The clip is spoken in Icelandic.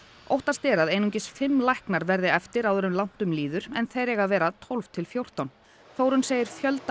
óttast er að einungis fimm læknar verði eftir áður en langt um líður en þeir eiga að vera tólf til fjórtán Þórunn segir fjölda